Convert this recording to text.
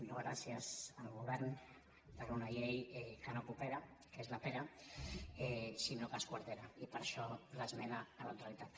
no gràcies al govern per una llei que no coopera que és la pera sinó que esquartera i per això l’esmena a la totalitat